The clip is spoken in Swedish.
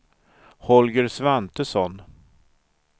Holger Svantesson